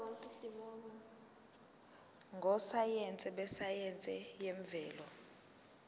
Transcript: ngososayense besayense yemvelo